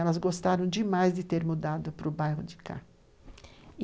Elas gostaram demais de ter mudado para o bairro de cá.